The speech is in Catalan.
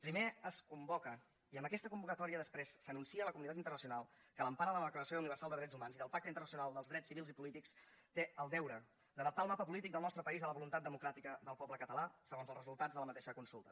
primer es convoca i amb aquesta convocatòria després s’anuncia a la comunitat internacional que a l’empara que la declaració universal dels drets humans i del pacte internacional dels drets civils i polítics té el deure d’adaptar el mapa polític del nostre país a la voluntat democràtica del poble català segons els resultats de la mateixa consulta